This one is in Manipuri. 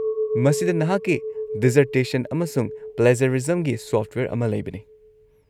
-ꯃꯁꯤꯗ ꯅꯍꯥꯛꯀꯤ ꯗꯤꯖꯔꯇꯦꯁꯟ ꯑꯃꯁꯨꯡ ꯄ꯭ꯂꯦꯖ꯭ꯌꯥꯔꯤꯖꯝꯒꯤ ꯁꯣꯐꯠꯋꯦꯌꯔ ꯑꯃ ꯂꯩꯕꯅꯤ꯫